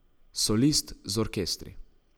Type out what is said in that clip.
Solist z orkestri.